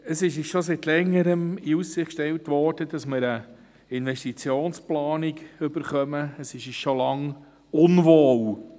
Es wurde uns bereits seit Längerem eine Investitionsplanung in Aussicht gestellt.